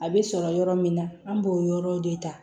A bɛ sɔrɔ yɔrɔ min na an b'o yɔrɔw de ta